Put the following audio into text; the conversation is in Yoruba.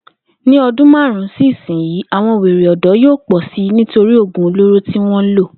Ní o̩dún márùn-ún sí ìsinyìí, àwo̩n wèrè ò̩dó̩ yóò pò̩ si nítorí ògùn olóró tí wó̩n ń lò